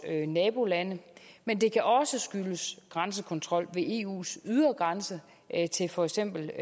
nabolande men det kan også skyldes grænsekontrol ved eus ydre grænse til for eksempel